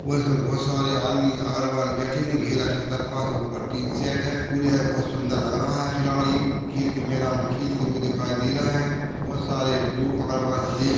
और इसमें बहुत सारे आदमी अगल-बगल बैठे हैं बहुत सुंदर लग रहा है खिलाड़ी खेल के मैदान में खेलते हुए दिखाई दे रहे हैं बहुत सारे लोग अगल-बगल से--